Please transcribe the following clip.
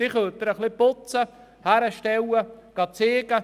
Die Lastwagen können Sie nur ein wenig putzen und vorzeigen.